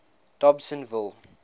dobsenville